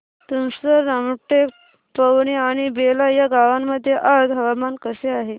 तुमसर रामटेक पवनी आणि बेला या गावांमध्ये आज हवामान कसे आहे